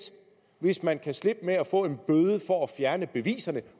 hvis man kan slippe med at få en bøde for at fjerne beviserne